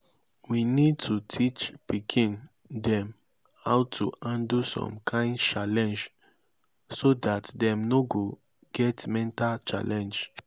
we need to teach pikin dem how to handle some kind challenge so dat dem no go get mental challenge